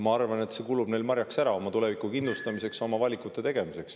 Ma arvan, et see kulub neile marjaks ära, et oma tulevikku kindlustada ja oma valikuid teha.